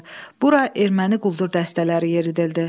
Bura erməni quldur dəstələri yeridildi.